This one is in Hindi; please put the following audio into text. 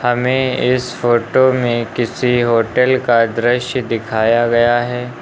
हमें इस फोटो में किसी होटल का दृश्य दिखाया गया है।